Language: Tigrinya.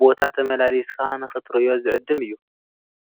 ቦታ ተመላሊስካ ንክትርእዮ ዝዕድም እዩ፡፡